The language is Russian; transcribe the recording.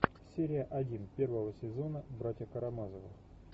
серия один первого сезона братья карамазовы